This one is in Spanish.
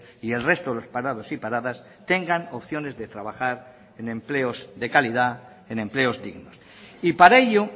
y el resto de los parados y paradas tengan opciones de trabajar en empleos de calidad en empleos dignos y para ello